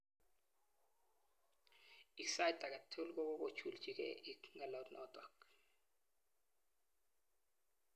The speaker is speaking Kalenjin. Ik sait aketugul gokogojuljigei ik ngalot notok.